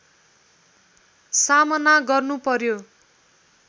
सामना गर्नुपर्‍यो